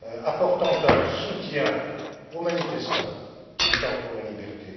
apportant un soutien aux manifestants luttant pour la liberté.